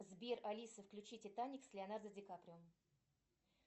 сбер алиса включи титаник с леонардо ди каприо